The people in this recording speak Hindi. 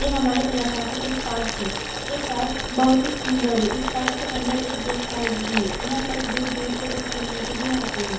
ये हमारे इलाका का एक पार्क है | ये पार्क बहुत ही सुन्दर है | इस पार्क के अंदर एक गेस्ट हाउस भी है | यहाँ पर दूर दूर से लोग घूमने के लिए आते हैं |